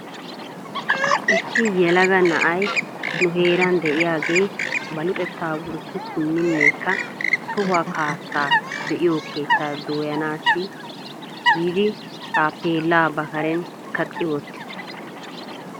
Issi yelaga na'ay nu heeran diyaagee ba luxetta wurssi simminnekka tohuwaa kaassaa be'igoo keetta dooyanaassi giidi taappeella ba karen kaqqi wottis.